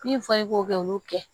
Min fɔra i k'o kɛ olu kɛ